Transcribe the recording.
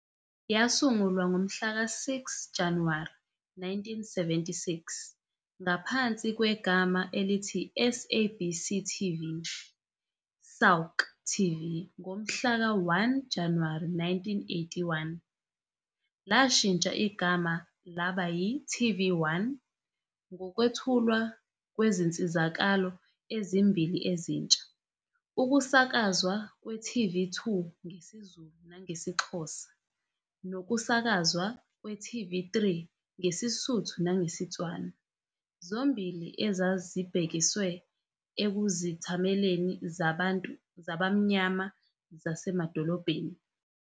Yasungulwa ngomhlaka 6 Januwari 1976 ngaphansi kwegama elithi SABC TV - SAUK TV. Ngomhlaka 1 Januwari 1981, lashintsha igama laba yi-TV1, ngokwethulwa kwezinsizakalo ezimbili ezintsha-ukusakazwa kwe-TV2 ngesiZulu nangesiXhosa nokusakazwa kwe-TV3 ngesiSuthu nangesiTswana, zombili ezazibhekiswe kuzithameli zabamnyama zasemadolobheni.